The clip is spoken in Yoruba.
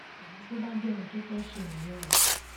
ìyẹn tó bá jẹ ohun tó fẹẹ ṣe nìyẹn o